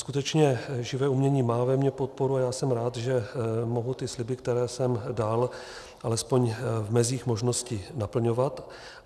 Skutečně živé umění má ve mně podporu a já jsem rád, že mohu ty sliby, které jsem dal, alespoň v mezích možnosti naplňovat.